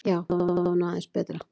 Já, þetta var nú aðeins betra, ha!